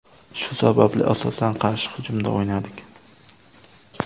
Shu sababli, asosan qarshi hujumda o‘ynadik.